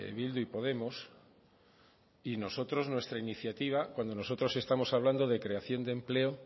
bildu y podemos y nosotros nuestra iniciativa cuando nosotros estamos hablando de creación de empleo